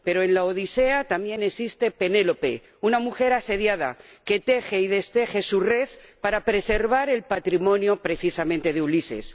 Pero en La Odisea también existe Penélope, una mujer asediada que teje y desteje su red para preservar el patrimonio, precisamente, de Ulises.